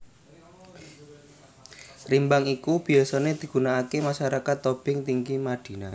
Rimbang iki biyasané digunakaké masyarakat Tobing Tinggi Madina